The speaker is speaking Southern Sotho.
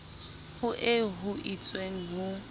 ho eo ho itsweng ho